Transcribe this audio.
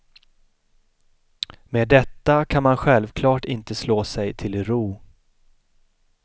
Med detta kan man självklart inte slå sig till ro.